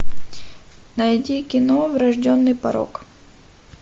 найди кино врожденный порок